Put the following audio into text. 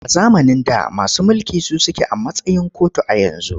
A zamanin da masu mulki su suke a matsayin kotu a yanzu.